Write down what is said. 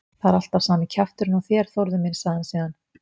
Það er alltaf sami kjafturinn á þér, Þórður minn sagði hann síðan.